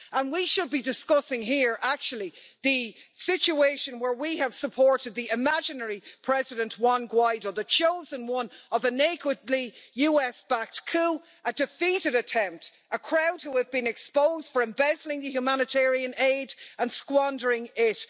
We should be discussing here, actually, the situation where we have supported the imaginary president Juan Guaidó, the chosen one of a nakedly US backed coup, a defeated attempt, a crowd who have been exposed for embezzling the humanitarian aid and squandering it.